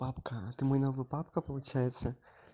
папка а ты мой новый папка получается